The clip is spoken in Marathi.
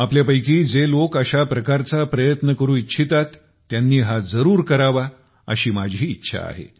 आपणापैकी जे लोक अशा प्रकारचा प्रयत्न करू इच्छितात त्यांनी हा जरूर करावा अशी माझी इच्छा आहे